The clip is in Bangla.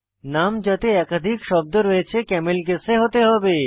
নাম যাতে একাধিক শব্দ রয়েছে ক্যামেল কেসে হতে হবে